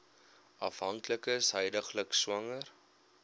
afhanklikes huidiglik swanger